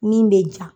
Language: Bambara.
Min bɛ ja